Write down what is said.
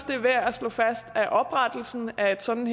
det er værd at slå fast at oprettelsen af et sådant